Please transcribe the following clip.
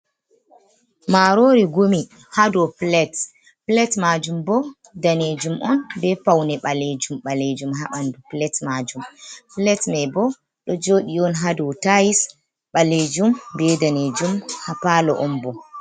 Maarori gumi ha dow pilet. Pilet maajum bo daneejum on, bee paune ɓaleejum ɓaleejum ha ɓandu pilet maajum. Pilet mai bo ɗo jooɗi on ha dow tais ɓaleejum bee danejum ha paalo on bo.